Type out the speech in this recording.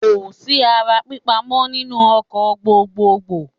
Kò sí ara pípa mọ́ nínú ọkọ̀ gbogboògbò.